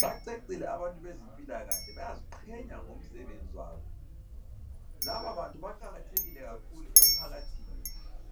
Bacecile abantu bezempilakahle. Bayaziqhenya ngomsebenzi wabo. Laba bantu baqakathekile kakhulu emphakathini